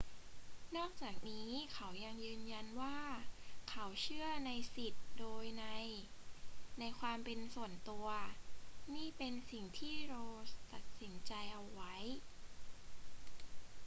นอกจากนี้เขายังยืนยันว่าเขาเชื่อในสิทธิโดยนัยในความเป็นส่วนตัว นี่เป็นสิ่งที่ roe ตัดสินใจเอาไว้